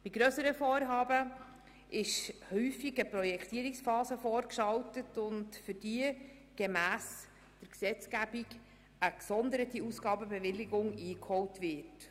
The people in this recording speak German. Bei grösseren Vorhaben ist häufig eine Projektierungsphase vorgeschaltet, für die gemäss der Gesetzgebung eine gesonderte Ausgabenbewilligung eingeholt wird.